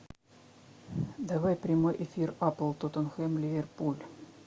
давай прямой эфир апл тоттенхэм ливерпуль